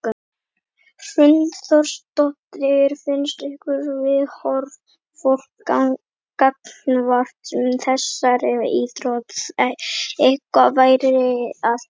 Hrund Þórsdóttir: Finnst ykkur viðhorf fólks gagnvart þessari íþrótt eitthvað vera að breytast?